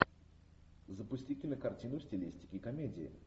запусти кинокартину в стилистике комедии